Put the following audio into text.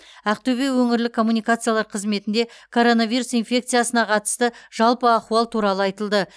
ақтөбе өңірлік коммуникациялар қызметінде коронавирус инфекциясына қатысты жалпы ахуал туралы айтылды